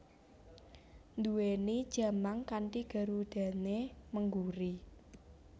Nduwèni jamang kanthi garudané mengguri